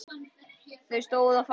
Þau stóðu á fætur.